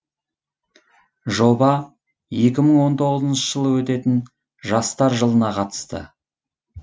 жоба екі мың он тоғызыншы жылы өтетін жастар жылына қатысты